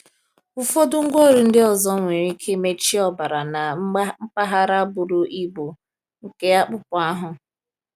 Ụfọdụ ngwaọrụ ndị ọzọ nwere ike mechie ọbara na mpaghara buru ibu nke akpụkpọ ahụ.